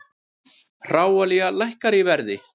Hráolía lækkar í verði